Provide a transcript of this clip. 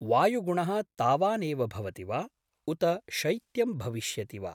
वायुगुणः तावानेव भवति वा, उत शैत्यं भविष्यति वा?